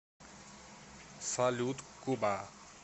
салют куба